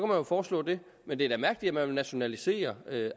jo foreslå det men det er da mærkeligt at man vil nationalisere